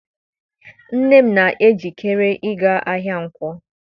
Nne m na-ejikere ịga ahịa Nkwọ.